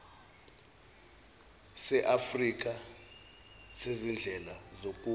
seafrika sezindlela zokumba